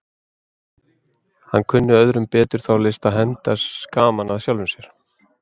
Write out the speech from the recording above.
Hann kunni öðrum betur þá list að henda gaman að sjálfum sér.